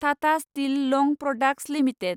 Tata steel long products limited